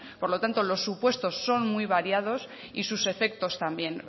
por lo tanto los supuestos son muy variados y sus efectos también